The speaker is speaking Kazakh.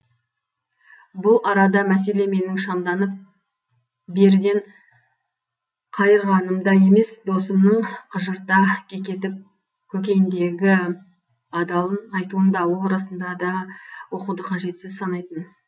бұл арада мәселе менің шамданып беріден қайырғанымда емес досымның қыжырта кекетіп көкейіндегі адалын айтуында ол расында да оқуды қажетсіз санайтын